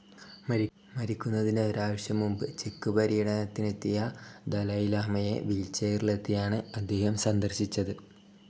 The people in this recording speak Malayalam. മരിക്കുന്നതിന് ഒരാഴ്ച മുമ്പ് ചെക്ക്‌ പര്യടനത്തിനെത്തിയ ദലൈലാമയെ വീൽചെയറിലെത്തിയാണ്‌ അദ്ദേഹം സന്ദർശിച്ചത്‌.